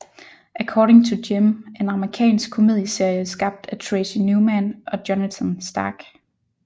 According to Jim er en amerikansk komedieserie skabt af Tracy Newman og Jonathan Stark